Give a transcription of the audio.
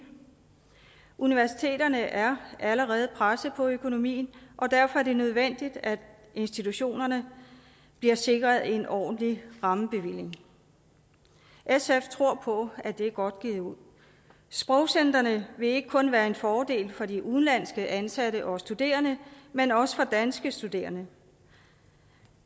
universiteterne er allerede presset på økonomien og derfor er det nødvendigt at institutionerne bliver sikret en ordentlig rammebevilling sf tror på at det er godt givet ud sprogcentrene vil ikke kun være en fordel for de udenlandske ansatte og studerende men også for danske studerende